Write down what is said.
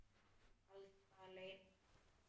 Alls staðar leynast hættur.